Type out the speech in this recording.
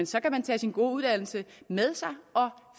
så kan tage sin gode uddannelse med sig og